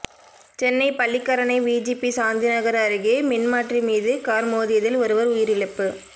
Chennai Pallikaranai VGP Shanthinagar அருகே மின்மாற்றி மீது கார் மோதியதில் ஒருவர் உயிரிழப்பு